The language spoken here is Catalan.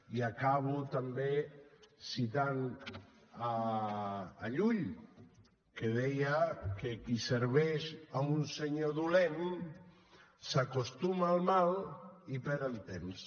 i acabo també citant llull que deia que qui serveix a un senyor dolent s’acostuma al mal i perd el temps